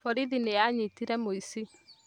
Borithi nĩanyitire mũici